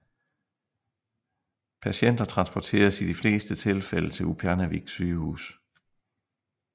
Patienter transporteres i de fleste tilfælde til Upernavik Sygehus